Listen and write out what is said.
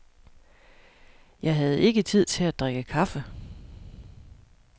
Jeg havde ikke tid til at drikke kaffe.